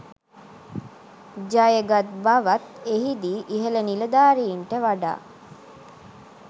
ජයගත් බවත් එහිදී ඉහළ නිලධාරීන්ට වඩා